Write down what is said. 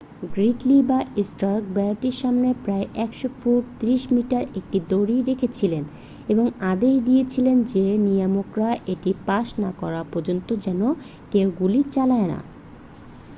গ্রিডলি বা স্টার্ক বেড়াটির সামনে প্রায় ১০০ ফুট ৩০ মিটার একটি দড়ি রেখেছিলেন এবং আদেশ দিয়েছিলেন যে নিয়ামকরা এটি পাশ না করা পর্যন্ত যেন কেউ গুলি চালায় না।